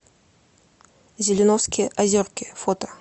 зеленовские озерки фото